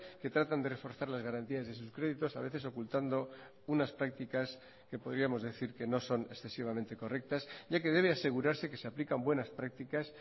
que tratan de reforzar las garantías de sus créditos a veces ocultando unas prácticas que podríamos decir que no son excesivamente correctas ya que debe asegurarse que se aplican buenas prácticas